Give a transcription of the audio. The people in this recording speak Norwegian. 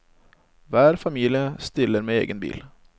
Hver familie stiller med egen bil.